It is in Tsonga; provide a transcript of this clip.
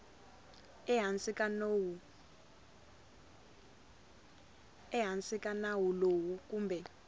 ehansi ka nawu lowu kumbe